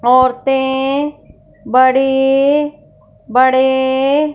औरते बड़े बड़े--